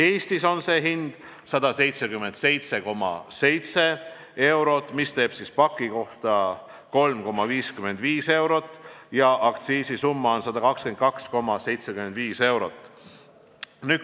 Eestis on see hind 177,7 eurot, mis teeb paki kohta 3,55 eurot, ja aktsiisisumma on 122,75 eurot.